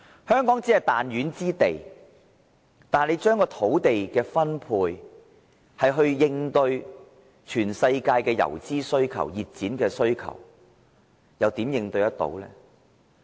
香港只是彈丸之地，當局要將土地分配以應付全球的游資或熱錢需求，試問怎能應對得來呢？